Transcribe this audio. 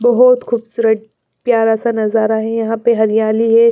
बहुत खूबसूरत प्यारा सा नजारा है यहाँ पे हरियाली है।